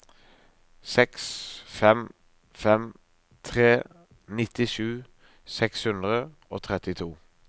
seks fem fem tre nittisju seks hundre og trettito